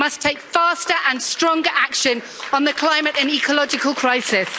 We must take faster and stronger action on the climate and ecological crisis.